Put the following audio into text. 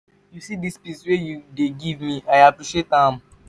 you see dis peace wey you dey give me i appreciate am.